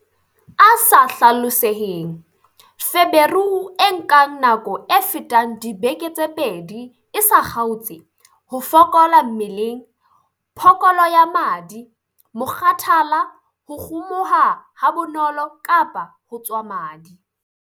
A sa hlaloseheng- Feberu e nkang nako e fetang dibeke tse pedi e sa kgaotse, ho fokola mmeleng, phokolo ya madi, mokgathala, ho kgumuha habonolo kapa ho tswa madi.